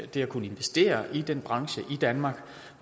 det at kunne investere i den branche i danmark